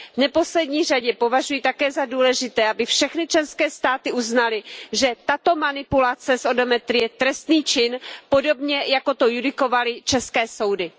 V neposlední řadě považuji také za důležité, aby všechny členské státy uznaly, že tato manipulace s odometry je trestný čin, podobně jako to judikovali české soudy.